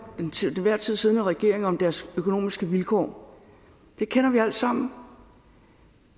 den til enhver tid siddende regering om deres økonomiske vilkår det kender vi altsammen